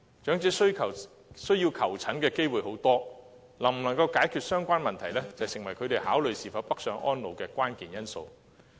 長者需要求診的機會很多，能否解決相關問題，成為他們考慮是否北上安老的關鍵因素。